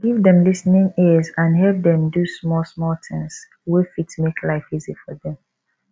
give dem lis ten ing ears and help dem do small small things wey fit make life easy for them